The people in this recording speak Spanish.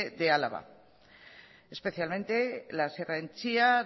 de álava especialmente la sierra de entzia